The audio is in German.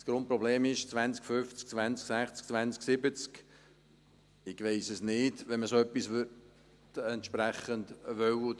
Das Grundproblem ist: 2050, 2060, 2070 … Ich weiss es nicht – wenn man so etwas entsprechend möchte.